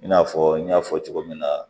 I n'a fɔ n y'a fɔ cogo min na